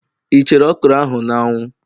Ị chere okro ahụ n'anwu